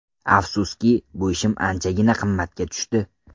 Afsuski, bu ishim anchagina qimmatga tushdi.